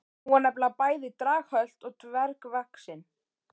Hún var nefnilega bæði draghölt og dvergvaxin.